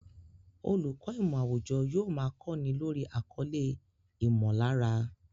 Olùkọ́ ìmọ̀ àwùjọ yóò máa kọ́ni lórí àkọlé "ìmọ̀lára"